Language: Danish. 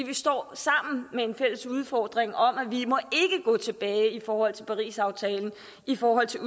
vi står sammen med en fælles udfordring om at vi ikke må gå tilbage i forhold til parisaftalen i forhold til